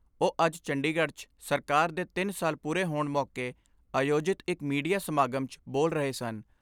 ਉਹ ਅੱਜ ਚੰਡੀਗੜ੍ਹ 'ਚ ਸਰਕਾਰ ਦੇ ਤਿੰਨ ਸਾਲ ਪੂਰੇ ਹੋਣ ਮੌਕੇ ਆਯੋਜਿਤ ਇਕ ਮੀਡੀਆ ਸਮਾਗਮ 'ਚ ਬੋਲ ਰਹੇ ਸਨ।